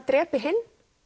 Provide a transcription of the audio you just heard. drepi hinn